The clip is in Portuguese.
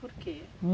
Por quê?